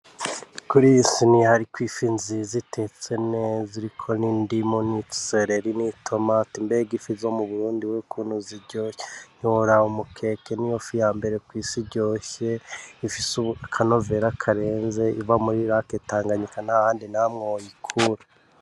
Kuriyi siniya hariko ifi nziza itetse neza iriko n'indimu, n'isereri, n'itomati mbega ifi zo mu Burundi we ukuntu ziryoshe ntiworaba umukeke niyo fi yambere kw'isi iryoshe ifise akanovera karenze iva muri lac tanganyika ntahandi nahamwe woyikura.